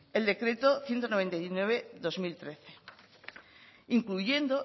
el decreto ciento noventa y nueve barra dos mil trece incluyendo